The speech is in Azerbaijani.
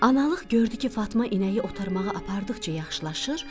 Analıq gördü ki, Fatma inəyi otarmağa apardıqca yaxşılaşır.